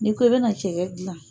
N'i ko i bɛna cɛkɛ gilan.